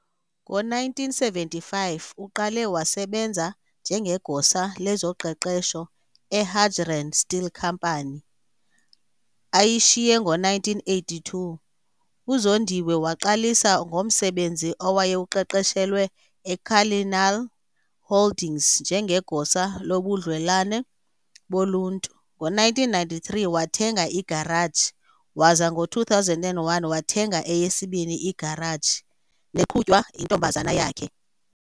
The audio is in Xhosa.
Ngo-1975 uqale wasebenza njengeGosa lezoQeqesho eHadgerand Still Company, ayishiye ngo-1982. UZondiwe waqalisa ngomsebenzi awayewuqeqeshelwe eCullinan Holdings njengeGosa lobuDlelwane boLuntu. Ngo-1993 wathenga igaraji waza ngo-2001 wathenga eyesibini igaraji neqhutywa yintombazana yakhe.